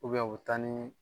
u bɛ taa ni